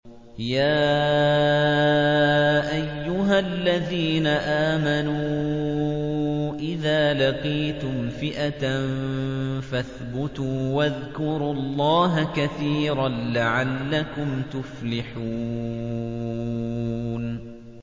يَا أَيُّهَا الَّذِينَ آمَنُوا إِذَا لَقِيتُمْ فِئَةً فَاثْبُتُوا وَاذْكُرُوا اللَّهَ كَثِيرًا لَّعَلَّكُمْ تُفْلِحُونَ